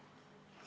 Austatud Riigikogu!